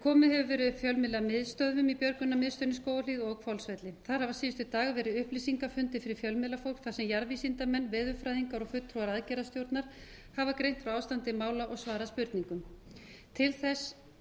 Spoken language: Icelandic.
komið hefur verið upp björgunarmiðstöðvum í björgunarmiðstöðinni í skógarhlíð og hvolsvelli þar hafa síðustu dagar verið upplýsingafundir fyrir fjölmiðlafólk þar sem jarðvísindamenn veðurfræðingar og fulltrúar aðgerðastjórnar hafa greint frá ástandi mála og svarað spurningum til þessa